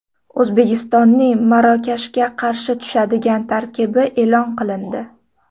O‘zbekistonning Marokashga qarshi tushadigan tarkibi e’lon qilindi.